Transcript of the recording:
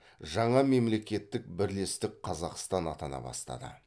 жаңа мемлекеттік бірлестік қазақстан атана бастады